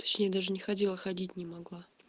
точнее даже не ходила ходить не могла